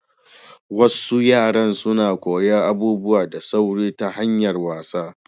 Wassu yara suna koyan abubuwa da sauri ta hanyar wasa.